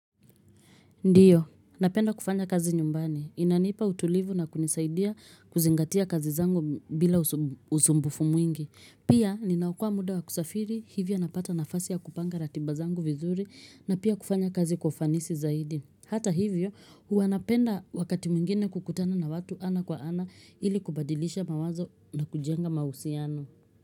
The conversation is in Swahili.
Ndiyo, napenda kufanya kazi nyumbani. Inanipa utulivu na kunisaidia kuzingatia kazi zangu bila usumbufu mwingi. Pia, ninaokoa muda wa kusafiri, hivyo napata nafasi ya kupanga ratiba zangu vizuri na pia kufanya kazi kufanisi zaidi. Hata hivyo, huwa napenda wakati mwingine kukutana na watu ana kwa ana ili kubadilisha mawazo na kujenga mahusiano.